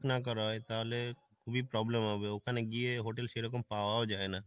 করা হয়, তাহলে খুবই problem হবে ওখানে গিয়ে hotel সেরকম পাওয়াও যাই না।